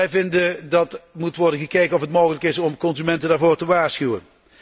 wij vinden dat moet worden bekeken of het mogelijk is consumenten daarvoor te waarschuwen.